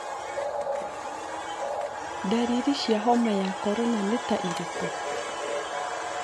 Ndariri cia homa ya korona nĩ ta irĩkũ?